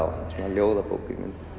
ljóðabók